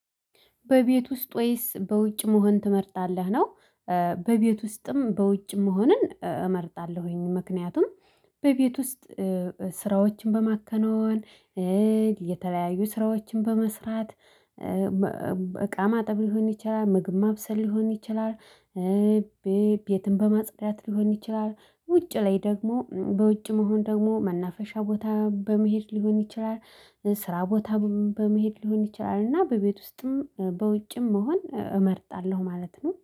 በቤት ውስጥ ወይስ በውጭ መሆን ትመርጣለህ? ነው እ በቤት ውስጥም በውጭ መሆንን እመርጣለሁኝ ምክንያቱም በቤት ውስጥ እ ስራዎችን በማከናወን እ የተለያዩ ስራዎችን በመስራት እቃ ማጠብ ሊሆን ይችላል ምግብ ማብሰል ሊሆን ይችላል እ ቤትም በማጽዳት ሊሆን ይችላል ውጭ ላይ ደግሞ በውጭ መሆን ደግሞ መናፈሻ ቦታ በመሄድ ሊሆን ይችላል እ ስራ ቦታም በመሄድ ሊሆን ይችላል እና በቤት ውስጥም በውጭም መሆን እመርጣለሁ ማለት ነው